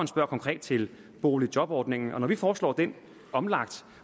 konkret til boligjobordningen og at når vi foreslår den omlagt